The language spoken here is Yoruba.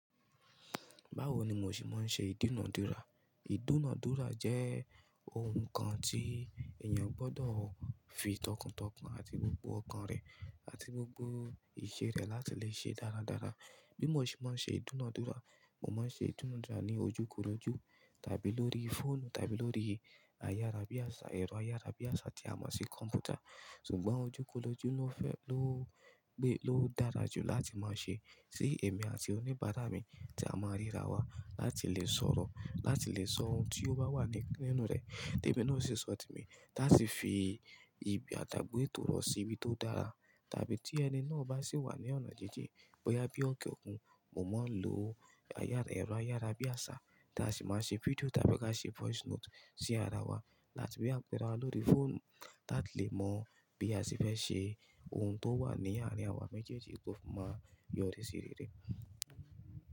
Báwo ni mo ṣe máa ń ṣe ìdúnadúrà? Ìdúnadúrà jẹ́ ohun kan tí èèyàn gbọdọ̀ fi tọkàntọkàn àti gbogbo ọkàn rẹ àti gbogbo ìṣe rẹ̀ láti lè ṣe dáradára. Bí mo ṣe máa ń ṣe ìdúnadúrà, mo máa ń ṣe ìdúnadúrà ní ojúkòrójú tàbí lórí fóònù tàbí lórí ayára bí àsá, ẹ̀rọ ayára bí àsá tí a máa ń ṣe kọ̀m̀pútà. Ṣùgbọ́n ojúkòrójú ló fẹ́, ló gbé, ló dára jù láti máa ṣe. Sí èmi àti oníbàrá mi tí a máa ń ríra wa láti lè sọ̀rọ̀, láti lè sọ ohun tí ó bá wà nínú rẹ̀, tèmi náà sì sọ temi ta si fi ìbi ati àigbo ètò rọ̀ sí ibi tó dára. Tàbí tí ẹni náà bá sì wà ní ọ̀nà jíji bóyá bí ọ̀kẹ́ òkun, mo máa ń lo ayára ẹ̀rọ ayára bí àsá tí a sì máa ń ṣe fídíò tàbí ká ṣe voice note sí ara wa láti lè kpe ara wa lórí fóònù tí a lè mọ̀ bí a sì fẹ́ ṣe ohun tó wà ní àárín àwa méjèèjì kó máa yọrí sí rere.